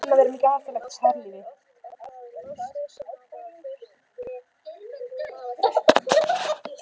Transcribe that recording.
Þá hlýtur hann að vera með gasalegt harðlífi.